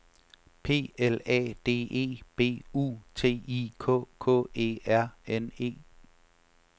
P L A D E B U T I K K E R N E